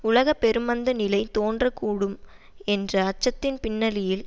உலக பெருமந்த நிலை தோன்றக்கூடும் என்ற அச்சத்தின் பின்னணியில்